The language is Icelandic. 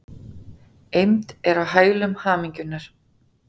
Eymd er á hælum hamingjunnar.